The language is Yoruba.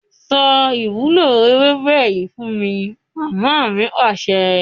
Sọ ìwúlò ewébẹ̀ yìí fún mi! Mama mi Pàṣẹ.